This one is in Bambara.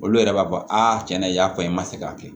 Olu yɛrɛ b'a fɔ cɛn na i y'a fɔ n ma se k'a kɛ